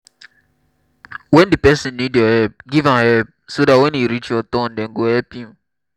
when di person need your help give am help so dat when e reach your turn dem go help you